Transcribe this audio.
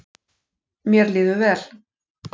Mér líður vel